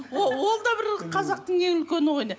ол да бір қазақтың ең үлкен ойыны